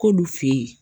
K'olu fe ye